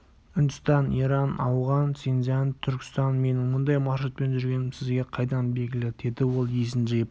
үндістан иран ауған синцзянь түркістан менің мұндай маршрутпен жүргенім сізге қайдан белгілі деді ол есін жиып